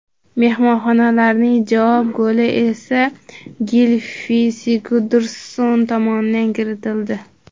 Mehmonlarning javob goli esa Gilfi Sigurdsson tomonidan kiritildi.